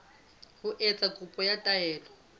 ho etsa kopo ya taelo